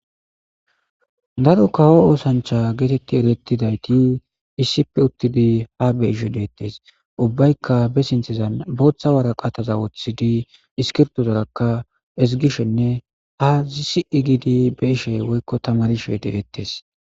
Daaro kawo ooththancha getteti eretidaytti issippe uuttidi ha beishshe de'etes ubbayka be sinththen booththa waraqqata woththidi isskirbitozara ezzgishenne tamarshe de'ttes.